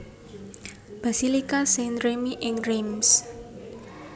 Basilika Saint Remi ing Reims